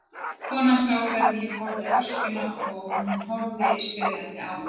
Konan sá hvernig ég horfði á öskjuna og hún horfði spyrjandi á mig.